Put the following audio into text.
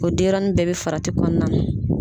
O denyɛrɛnin bɛɛ bɛ farati kɔɔna na.